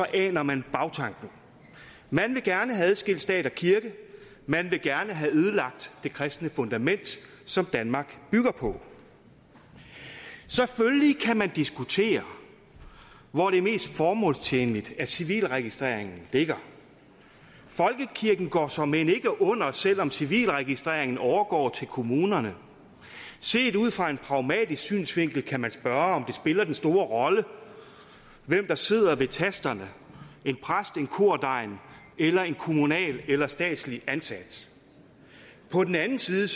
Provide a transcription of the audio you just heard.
aner man bagtanken man vil gerne have adskilt stat og kirke man vil gerne have ødelagt det kristne fundament som danmark bygger på selvfølgelig kan man diskutere hvor det er mest formålstjenligt at civilregistreringen ligger folkekirken går såmænd ikke under selv om civilregistreringen overgår til kommunerne set ud fra en pragmatisk synsvinkel kan man spørge om det spiller den store rolle hvem der sidder ved tasterne en præst eller kordegn eller en kommunalt eller statsligt ansat på den anden side